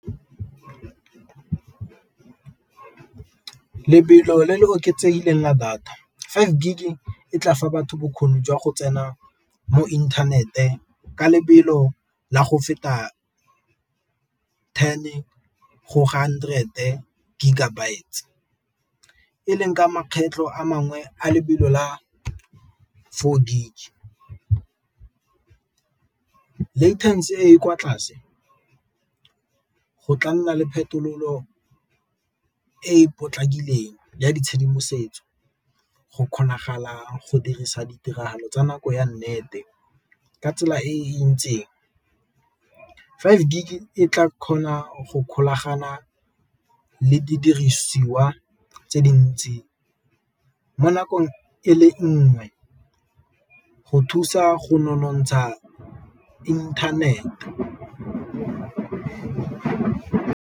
Lebelo le le oketsegileng a data five gig e tla fa batho bokgoni jwa go tsena mo inthanete ka lebelo la go feta ten go hundred-te gigabytes, e leng ka makgetlho a mangwe a lebelo la four gig, e e kwa tlase go tla nna le phetololo e potlakileng ya ditshedimosetso go kgonagala go dirisa ditiragalo tsa nako ya nnete ka tsela e ntseng. Five gig e tla kgona go golagana le didirisiwa tse dintsi mo nakong e le nngwe go thusa go nonontsha internet-e.